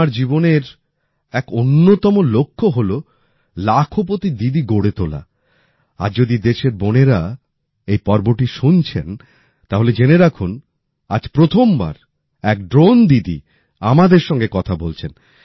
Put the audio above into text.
আমার জীবনের এক অন্যতম লক্ষ্য হলো লাখপতি দিদি গড়ে তোলা আজ যদি দেশের বোনেরা এই পর্বটি শুনছেন তাহলে জেনে রাখুন আজ প্রথমবার এক ড্রোন দিদি আমাদের সঙ্গে কথা বলছেন